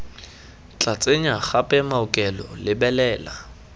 tla tsenya gape maokelo lebelela